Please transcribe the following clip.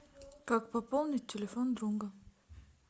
как пополнить телефон друга